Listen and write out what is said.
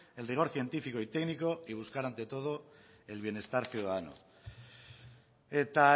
el rigor científico y técnico y buscar ante todo el bienestar ciudadano eta